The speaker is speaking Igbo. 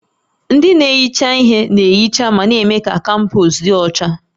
Ndị na-ehicha ihe na-ehicha ma na-eme ka kampọs dị ọcha